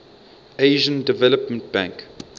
asian development bank